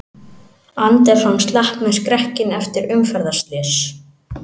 Anderson slapp með skrekkinn eftir umferðarslys